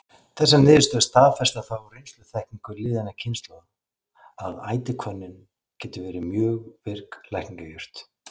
Þessar niðurstöður staðfesta þá reynsluþekkingu liðinna kynslóða, að ætihvönnin getur verið mjög virk lækningajurt.